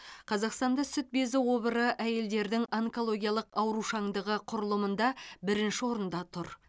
қазақстанда сүт безі обыры әйелдердің онкологиялық аурушаңдығы құрылымында бірінші орында тұр